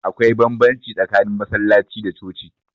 Akwai banbamci tsakanin masallaci da coci